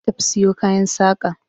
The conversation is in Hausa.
Na tafi siyo kayan saƙa.